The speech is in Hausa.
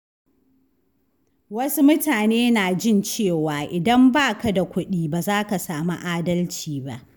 Wasu mutane na jin cewa idan ba ka da kudi, baza ka sami adalci ba.